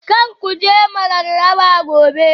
Kar ku je Mararaba Gobe